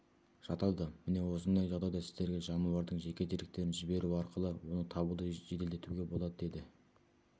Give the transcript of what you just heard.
жатады міне осындай жағдайда сіздерге жануардың жеке деректерін жіберу арқылы оны табуды жеделдетуге болады деді